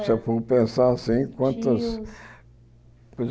Se eu for pensar assim, quantas... Tios.